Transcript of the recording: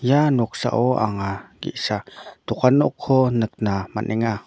ia noksao anga ge·sa dokan nokko nikna man·enga.